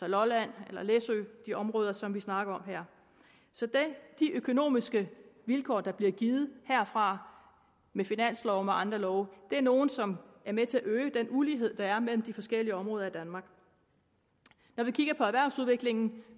lolland læsø og de områder som vi snakker om her så de økonomiske vilkår der bliver givet herfra med finansloven og andre love er nogle som er med til at øge den ulighed der er mellem de forskellige områder i danmark når vi kigger på erhvervsudviklingen